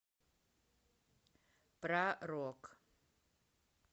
про рок